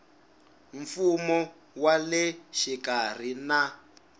mfumo wa le xikarhi na